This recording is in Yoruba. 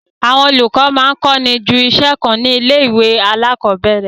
Àwọn olùkọ máa ń kọ́ ju iṣẹ́ kan lọ ní ilé-ìwé alákọ̀ọ́bẹ̀ẹ̀rẹ̀.